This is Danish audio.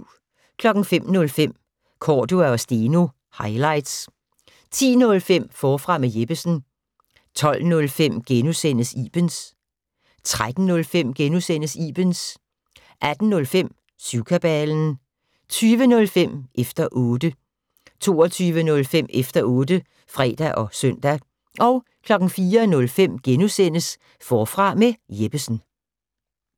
05:05: Cordua & Steno - highlights 10:05: Forfra med Jeppesen 12:05: Ibens * 13:05: Ibens * 18:05: Syvkabalen 20:05: Efter 0tte 22:05: Efter otte (fre og søn) 04:05: Forfra med Jeppesen *